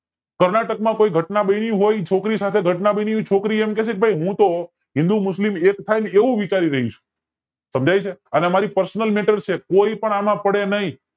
કર્ણાટક માં કોઈ ઘટના બની હોય એ છોકરી સાથે ઘટના બની હોય એ છોકરી એમ કે છે હું તો હિન્દૂ મુસ્લિમ એક થાય ને એવું વિચારી રહી છું આ અમારી personal metter છે કોઈ પણ એમાં પડે નય